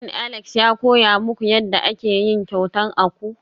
Shin Alex ya koya muku yadda ake yin kyauta akwu?